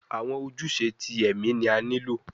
Awọn ojuse ti ẹmi ni a nilo